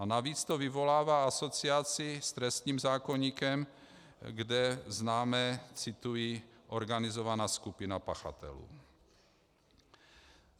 A navíc to vyvolává asociaci s trestním zákoníkem, kde známe - cituji: organizovaná skupina pachatelů.